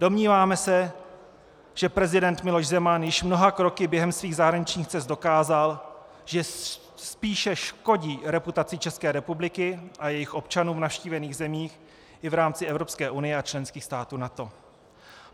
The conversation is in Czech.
Domníváme se, že prezident Miloš Zeman již mnoha kroky během svých zahraničních cest dokázal, že spíše škodí reputaci České republiky a jejích občanů v navštívených zemích i v rámci Evropské unie a členských států NATO.